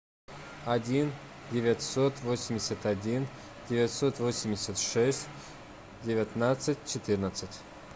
один девятьсот восемьдесят один девятьсот восемьдесят шесть девятнадцать четырнадцать